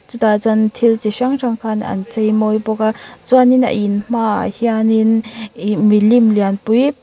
chutah chuan thil ti hrang hrang khan an chei mawi bawk a chuanin a in hma ah hianin ihh mi lim lian pui.